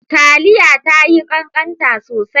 Taliya tayi kankanta sosai.